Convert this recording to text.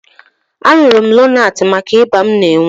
Aṅụrụ m Lonaatị maka ịba m na-enwe